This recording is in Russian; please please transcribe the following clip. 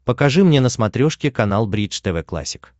покажи мне на смотрешке канал бридж тв классик